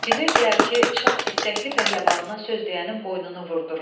Bilirdilər ki, şah istəkli pəhləvanına söz deyənin boynunu vurdurur.